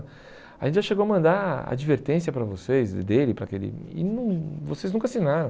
A gente já chegou a mandar advertência para vocês, dele, para aquele... E não vocês nunca assinaram.